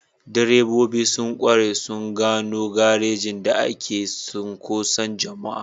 Direbobi sun ƙware sun gano garejin da ke cunkoson jama'a.